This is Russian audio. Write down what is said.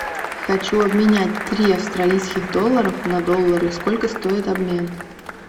хочу обменять три австралийских доллара на доллары сколько стоит обмен